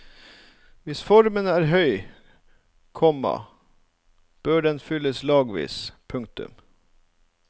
Hvis formen er høy, komma bør den fylles lagvis. punktum